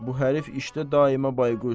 Bu hərif işdə daima bayquş.